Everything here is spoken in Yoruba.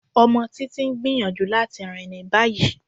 Ọmọ Títitì ń gbíyanjú latí rin ní báyì.